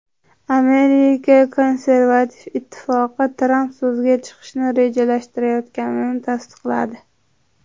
Amerika Konservativ ittifoqi Tramp so‘zga chiqishni rejalashtirayotganini tasdiqladi.